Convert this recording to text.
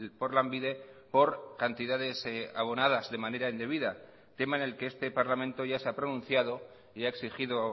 por lanbide por cantidades abonadas de manera indebida tema en el que este parlamento ya se ha pronunciado y ha exigido